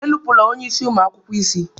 Enupụla onye isi ụmụ akwụkwọ isi!